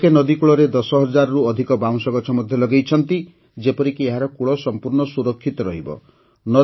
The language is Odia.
ଲୋକେ ନଦୀକୂଳରେ ୧୦୦୦୦ରୁ ଅଧିକ ବାଉଁଶ ଗଛ ମଧ୍ୟ ଲଗାଇଛନ୍ତି ଯେପରିକି ଏହାର କୂଳ ସମ୍ପୂର୍ଣ୍ଣ ସୁରକ୍ଷିତ ରହିବ